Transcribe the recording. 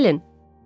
Gəlin.